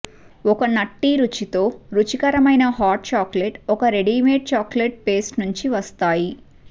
ఒక నట్టి రుచి తో రుచికరమైన హాట్ చాక్లెట్ ఒక రెడీమేడ్ చాక్లెట్ పేస్ట్ నుండి వస్తాయి